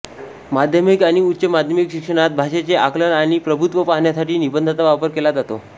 माध्यमिक आणि उच्च माध्यमिक शिक्षणात भाषेचे आकलन आणि प्रभुत्व पाहण्यासाठी निबंधाचा वापर केला जातो